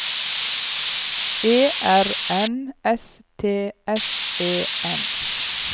E R N S T S E N